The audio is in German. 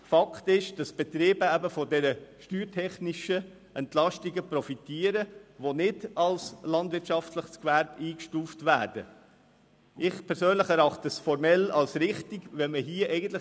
Fakt ist, dass Betriebe, die nicht als landwirtschaftliches Gewerbe eingestuft werden, von diesen steuertechnischen Entlastungen profitieren.